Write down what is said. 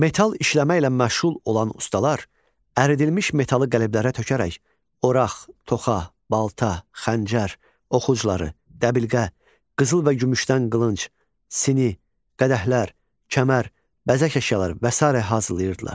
Metal işləmə ilə məşğul olan ustalar əridilmiş metalı qəlblərə tökərək oraq, toxa, balta, xəncər, ox ucluqları, dəbilqə, qızıl və gümüşdən qılınc, sini, qədəhlər, kəmər, bəzək əşyaları və sairə hazırlayırdılar.